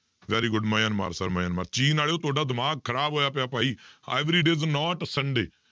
Very good Myanmar sir Myanmar ਚੀਨ ਵਾਲਿਓ ਤੁਹਾਡਾ ਦਿਮਾਗ ਖ਼ਰਾਬ ਹੋਇਆ ਪਿਆ ਭਾਈ every day is not sunday